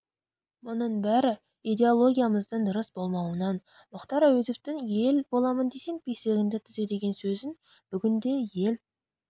мұның бәрі идеологиямыздың дұрыс болмауынан мұхтар әуезовтің ел боламын десең бесігіңді түзе деген сөзін бүгінде ел